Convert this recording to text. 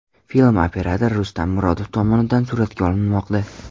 Film operator Rustam Murodov tomonidan suratga olinmoqda.